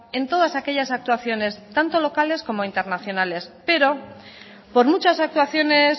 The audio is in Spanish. en todas aquellas actuaciones tanto locales como internacionales pero por muchas actuaciones